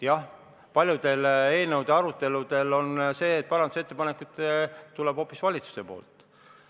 Jah, paljude eelnõude arutelu puhul on sedasi, et parandusettepanekud tulevad hoopis valitsusest.